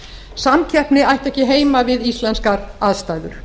samkeppni ætti ekki heima við íslenskar aðstæður